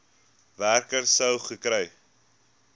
werker sou gekry